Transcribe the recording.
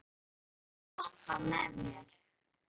Sæbrá, viltu hoppa með mér?